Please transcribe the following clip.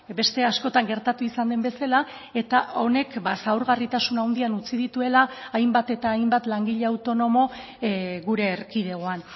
beste askotan gertatu izan den bezala eta honek zaurgarritasun handian utzi dituela hainbat eta hainbat langile autonomo gure erkidegoan